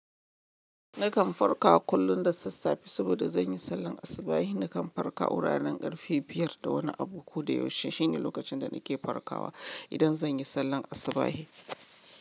Nakan farka kullum da sassafe saboda zan yi sallan asubahi. Nakan farka wuraren ƙarfe 5 da wani abu. Ko da yaushe shine lokacin da nake farkawa idan zan yi sallan asubahi.